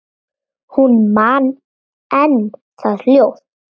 Hún man enn það hljóð.